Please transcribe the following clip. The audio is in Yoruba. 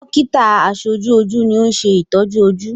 Dọ́kítà àṣetọ́jú ojú ni ó ń ṣe ìtọ́jú ojú.